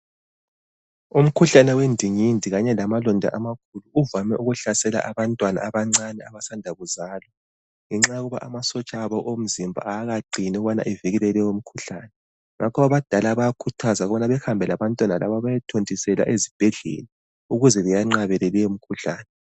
Umkhuhlane wendingindi kanye lamalonda amakhulu, uvame ukuhlasela abantwana abancane abasanda kuzalwa ngenxa yokuba amasotsha abo omzimba kawakaqini ukuthi avikele leyomkhuhlane. Ngakho abadala bayakhuthazwa ukuthi bahambe labantwana, laba bayethontiselwa ezibhedlela, ukuze benqabele leyomikhuhlane.